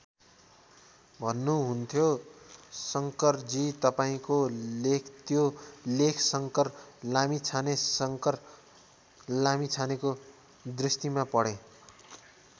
भन्नुहुन्थ्यो शङ्करजी तपाईँंको लेख त्यो लेख शङ्कर लाभिछाने शङ्कर लामिछानेको दृष्टिमा पढेँ।